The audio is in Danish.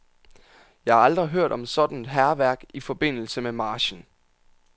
Jeg har aldrig hørt om sådant hærværk i forbindelse med marchen.